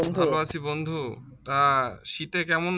ভালো আছি বন্ধু তা শীতে কেমন?